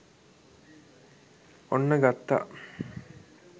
ඔන්න ගත්තා